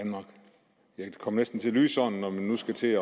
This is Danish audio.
kommer næsten til at lyde sådan når man nu skal til